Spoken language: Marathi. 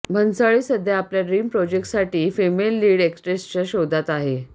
भन्साळी सध्या आपला ड्रिम प्रोजेक्टसाठी फिमेल लीड एक्ट्रेसेसच्या शोधात आहे